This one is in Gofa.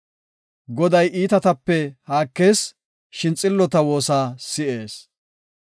Goday iitatape haakees; shin xillota woosa si7ees.